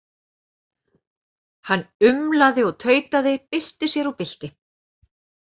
Hann umlaði og tautaði, bylti sér og bylti.